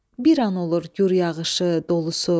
Bir an olur gur yağışı, dolusu.